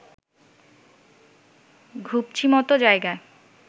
ঘুপচিমতো জায়গা